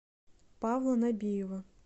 павла набиева